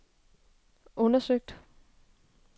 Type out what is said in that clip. undersøgt